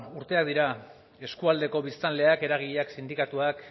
urteak dira eskualdeko biztanleak eragileak sindikatuak